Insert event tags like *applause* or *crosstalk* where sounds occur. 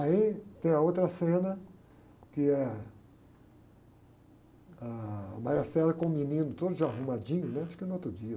Aí tem a outra cena, que é a *unintelligible* com o menino todo já arrumadinho, né? Acho que no outro dia.